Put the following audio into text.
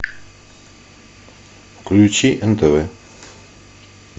включи нтв